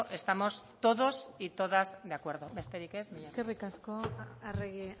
estamos todos y todas de acuerdo besterik ez eskerrik asko arregi